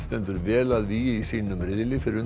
stendur vel að vígi í sínum riðli fyrir